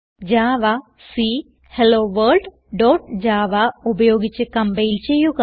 javac hello world dot java ഉപയോഗിച്ച് compile ചെയ്യുക